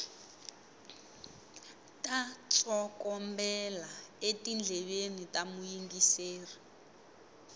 ta tsokombela etindleveni ta muyingiseri